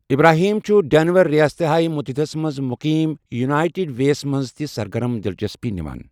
Abraham چھُ Denver, ریاستہائے متحدہ ہَس منٛز مقیم یونائیٹڈ وے یَس منٛز تہِ سرگرم دلچسپی نِوان۔